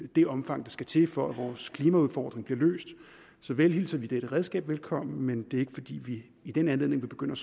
det omfang der skal til for at vores klimaudfordringer bliver løst så vel hilser vi dette redskab velkommen men det er ikke fordi vi i den anledning vil begynde